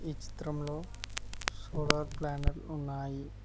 ఈ చిత్రంలో solar panel ఉన్నాయి.